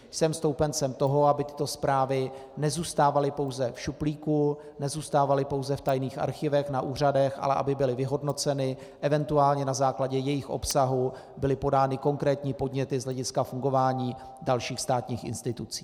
Jsem stoupencem toho, aby tyto zprávy nezůstávaly pouze v šuplíku, nezůstávaly pouze v tajných archivech na úřadech, ale aby byly vyhodnoceny, eventuálně na základě jejich obsahu byly podány konkrétní podněty z hlediska fungování dalších státních institucí.